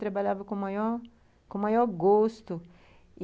Trabalhava com maior com maior gosto e